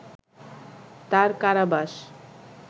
তাঁর কারাবাস